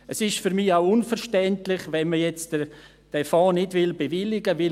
Es ist für mich auch unverständlich, wenn man jetzt diesen Fonds nicht bewilligen will.